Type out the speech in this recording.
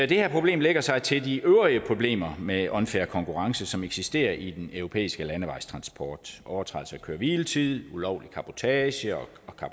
det her problem lægger sig til de øvrige problemer med unfair konkurrence som eksisterer i den europæiske landevejstransport overtrædelse af køre hvile tid ulovlig cabotage og